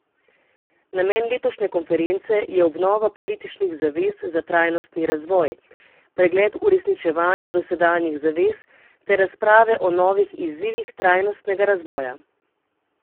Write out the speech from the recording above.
Namen letošnje konference je obnova političnih zavez za trajnostni razvoj, pregled uresničevanja dosedanjih zavez ter razprave o novih izzivih trajnostnega razvoja.